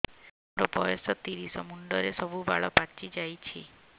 ମୋର ବୟସ ତିରିଶ ମୁଣ୍ଡରେ ସବୁ ବାଳ ପାଚିଯାଇଛି